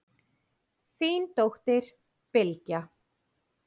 Þín dóttir, Bylgja.